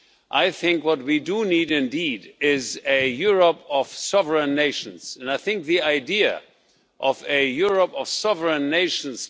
I think what we do need indeed is a Europe of sovereign nations and I think the idea of a Europe of sovereign nations